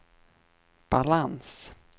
balans